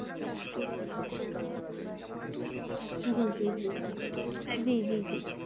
জি জি জি জি জি জি